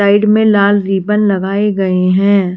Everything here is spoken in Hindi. साइड में लाल रिबन लगाए गए हैं।